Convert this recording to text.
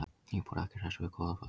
Íbúar ekki hressir með Goðafoss